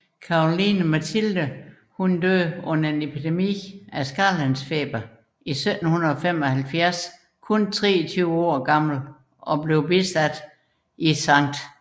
Caroline Mathilde døde under en epidemi af skarlagensfeber i 1775 kun 23 år gammel og blev bisat i St